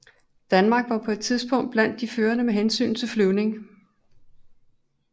Danmark var på det tidspunkt blandt de førende med hensyn til flyvning